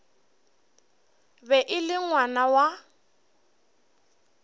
be e le ngwana wa